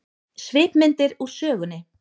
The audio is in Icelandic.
Svipmyndir úr sögunni